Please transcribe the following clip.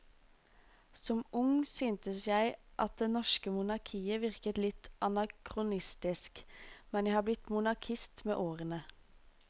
Som ung syntes jeg at det norske monarkiet virket litt anakronistisk, men jeg har blitt monarkist med årene.